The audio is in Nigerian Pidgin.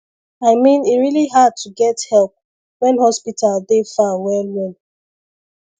i mean e really hard to get help when hospital dey far